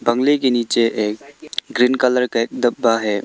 बंगले के नीचे एक ग्रीन कलर का एक डब्बा है।